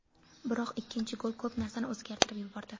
Biroq ikkinchi gol ko‘p narsani o‘zgartirib yubordi.